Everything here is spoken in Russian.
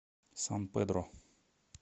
сан педро